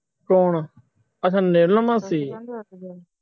ਕੌਣ ਅੱਛਾ ਮਾਸੀ